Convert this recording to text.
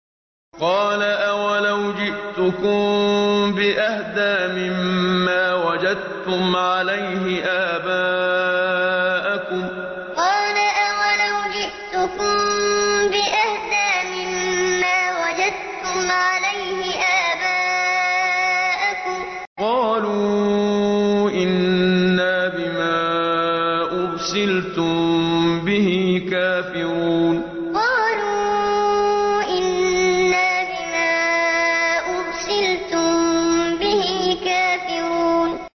۞ قَالَ أَوَلَوْ جِئْتُكُم بِأَهْدَىٰ مِمَّا وَجَدتُّمْ عَلَيْهِ آبَاءَكُمْ ۖ قَالُوا إِنَّا بِمَا أُرْسِلْتُم بِهِ كَافِرُونَ ۞ قَالَ أَوَلَوْ جِئْتُكُم بِأَهْدَىٰ مِمَّا وَجَدتُّمْ عَلَيْهِ آبَاءَكُمْ ۖ قَالُوا إِنَّا بِمَا أُرْسِلْتُم بِهِ كَافِرُونَ